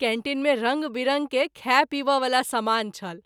Canteen मे रंग विरंग के खाय- पीब’ वला समान छल।